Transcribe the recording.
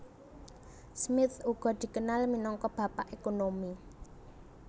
Smith uga dikenal minangka Bapak Ekonomi